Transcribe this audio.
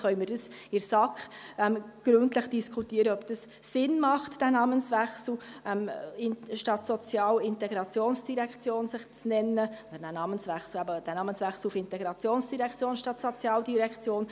Dann können wir in der SAK gründlich diskutieren, ob dieser Namenswechsel auf Integrations- statt Sozialdirektion Sinn macht.